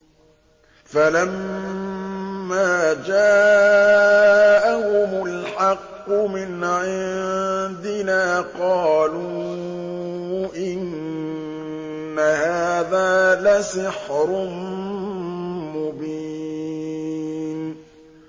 فَلَمَّا جَاءَهُمُ الْحَقُّ مِنْ عِندِنَا قَالُوا إِنَّ هَٰذَا لَسِحْرٌ مُّبِينٌ